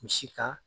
Misi ka